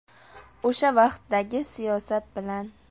O‘sha vaqtdagi siyosat bilan.